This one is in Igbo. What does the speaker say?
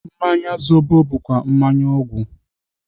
Mmanya zobo bụkwa mmanya ọgwụ.